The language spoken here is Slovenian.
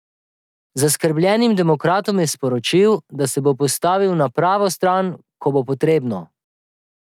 Zaskrbljenim demokratom je sporočil, da se bo postavil na pravo stran, ko bo potrebno.